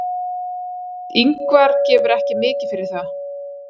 Ingvar gefur ekki mikið fyrir það.